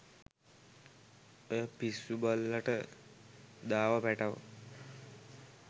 ඔය පිස්සු බල්ලට දාව පැටව්